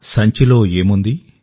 సంచిలో ఏముంది